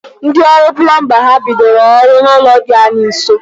Ndị ọrụ plumba ha bidoro ọrụ n'ụlọ dị anyị nso?